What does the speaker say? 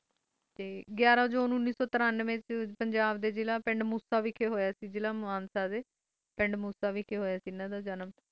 ਗਿਰਾ ਜੂਨ ਉਣੀ ਸੋ ਤਾਰਾਂਆਂ ਵਿਚ ਨੂੰ ਹਨ ਦਾ ਜਨਮ ਹੋਇਆ ਸੇ ਪੰਜਾਬ ਡੇ ਪਿੰਡ ਮੂਸਾ ਵਿਖਾਈ ਹੋਇਆ ਸੇ ਜਿਲਾ ਮਾਨਸਾ ਹੋਇਆ ਸੀ